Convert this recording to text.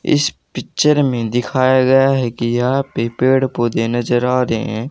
इस पिक्चर में दिखाया गया है कि यहां पे पेड़ पौधे नजर आ रहे हैं।